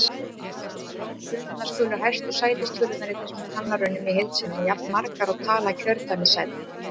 Fundnar skulu hæstu sætistölurnar í þessum talnarunum í heild sinni, jafnmargar og tala kjördæmissætanna.